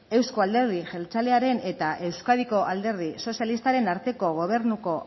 euzko alderdi jeltzalearen eta euskadiko alderdi sozialistaren arteko gobernuko